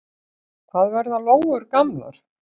Hvað verða lóur gamlar?